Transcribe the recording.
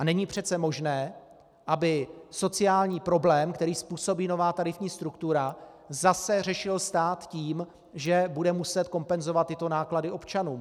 A není přece možné, aby sociální problém, který způsobí nová tarifní struktura, zase řešil stát tím, že bude muset kompenzovat tyto náklady občanům.